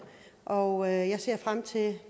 og jeg ser frem til at